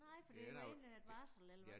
Nej for det da egentlig et varsel eller